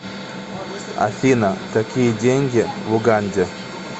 афина какие деньги в уганде